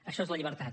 això és la llibertat